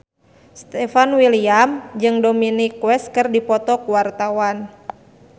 Stefan William jeung Dominic West keur dipoto ku wartawan